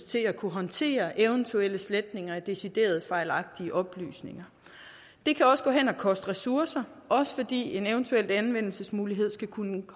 til at kunne håndtere eventuelle sletninger af decideret fejlagtige oplysninger det kan koste ressourcer også fordi en eventuel anvendelsesmulighed skal kunne